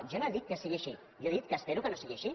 jo no he dit que sigui així jo he dit que espero que no sigui així